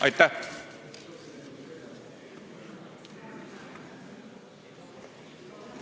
Aitäh!